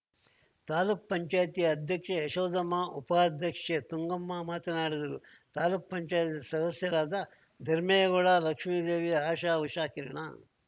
ತಾಲೂಕ್ ಪಂಚಾಯ್ತಿ ಅಧ್ಯಕ್ಷೆ ಯಶೋಧಮ್ಮ ಉಪಾಧ್ಯಕ್ಷೆ ತುಂಗಮ್ಮ ಮಾತನಾಡಿದರು ತಾಲೂಕ್ ಪಂಚಾಯ್ತಿ ಸದಸ್ಯರಾದ ಧರ್ಮೇಗೌಡ ಲಕ್ಷ್ಮಿದೇವಿ ಆಶಾ ಉಷಾಕಿರಣ